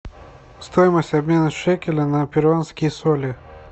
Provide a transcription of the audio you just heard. стоимость обмена шекеля на перуанские соли